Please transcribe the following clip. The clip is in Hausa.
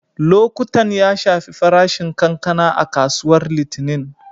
Lokuttan ya shafi farashin kankana a kasuwar Litinin.